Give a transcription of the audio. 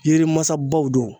Yiri mansabaw don